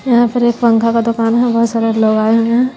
यहां पर एक पंखा का दुकान हैं बहुत सारे लोग आय हुए है।